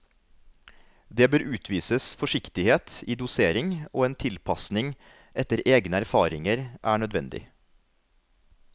Det bør utvises forsiktighet i dosering og en tilpassning etter egene erfaringer er nødvendig.